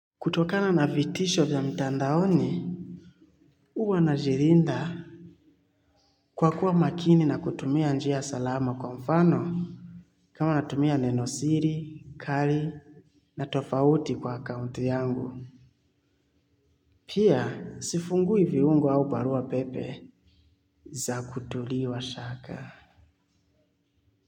Kutokana na vitisho vya mtandaoni huwa najilinda kwakuwa makini na kutumia njia salama kwa mfano kama natumia nenosiri, kali na tofauti kwa akaunti yangu pia sifungui viungu au barua pepe za kutuliwa shaka.